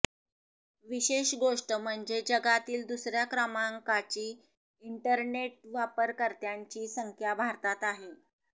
विशेष गोष्ट म्हणजे जगातील दुसऱ्या क्रमांकाची इंटरनेट वापरकर्त्यांची संख्या भारतात आहे